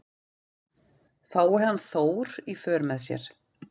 Fái hann Þór í för með sér